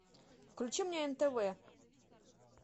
включи мне нтв